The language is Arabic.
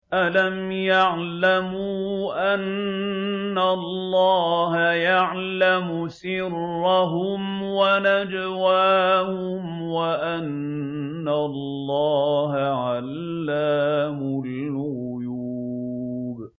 أَلَمْ يَعْلَمُوا أَنَّ اللَّهَ يَعْلَمُ سِرَّهُمْ وَنَجْوَاهُمْ وَأَنَّ اللَّهَ عَلَّامُ الْغُيُوبِ